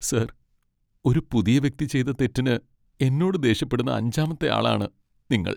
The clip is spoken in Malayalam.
സാർ, ഒരു പുതിയ വ്യക്തി ചെയ്ത തെറ്റിന് എന്നോട് ദേഷ്യപ്പെടുന്ന അഞ്ചാമത്തെ ആളാണ് നിങ്ങൾ.